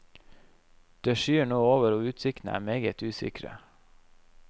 Det skyer nå over og utsiktene er meget usikre.